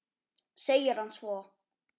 segir hann svo.